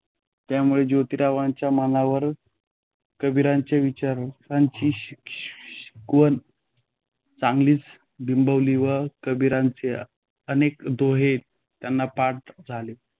त्यामुळे जोतीरावांच्या मनावर कबीराच्या विचारांची शि शि शिकवण चांगलीच बिंबली व कबीराचे अनेक दोहे त्यांना पाठ झाले.